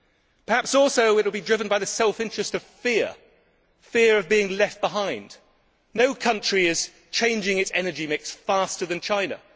Perhaps also it will be driven by the self interest of fear fear of being left behind. No country is changing its energy mix faster than China